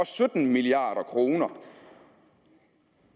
sytten milliard kroner